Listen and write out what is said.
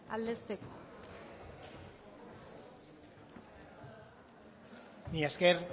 aldezteko mila esker